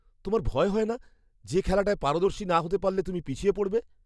তোমার ভয় হয় না যে খেলাটায় পারদর্শী না হতে পারলে তুমি পিছিয়ে পড়বে?